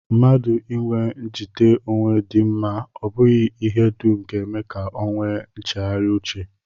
Mmadụ inwe njite onwe dị mma, ọ bụghị ihe dum ga-eme ka ọ nwee nchegharị uche